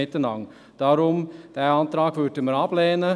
Deshalb lehnen wir diesen Antrag ab.